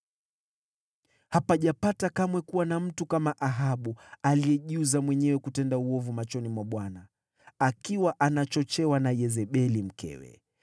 (Hapajapata kamwe kuwa na mtu kama Ahabu, aliyejiuza mwenyewe kutenda uovu machoni mwa Bwana , akiwa anachochewa na Yezebeli mkewe.